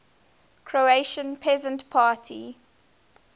croatian peasant party